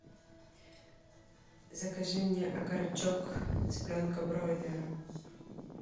закажи мне окорочок цыпленка бройлера